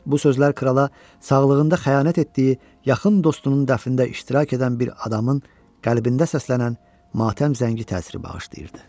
Bu sözlər krala, sağlığında xəyanət etdiyi yaxın dostunun dəfnində iştirak edən bir adamın qəlbində səslənən matəm zəngi təsiri bağışlayırdı.